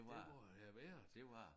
Det må det have været